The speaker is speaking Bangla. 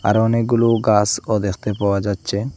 অনেকগুলো গাসও দেখতে পাওয়া যাচ্ছে।